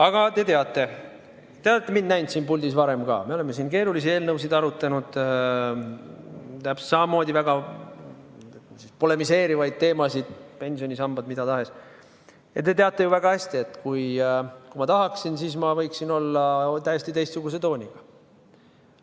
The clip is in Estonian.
Aga te teate – te olete mind siin puldis ka varem näinud, me oleme siin keerulisi eelnõusid arutanud, täpselt samamoodi väga polemiseerivaid teemasid, pensionisambaid, mida tahes –, te teate ju väga hästi, et kui ma tahaksin, siis võiksin olla täiesti teistsuguse tooniga.